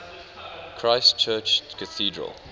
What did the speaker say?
christ church cathedral